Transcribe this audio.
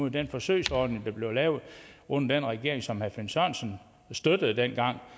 i den forsøgsordning der blev lavet under den regering som herre finn sørensen støttede dengang